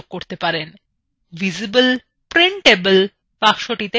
visible এবং printable বাক্সটিতে check দিন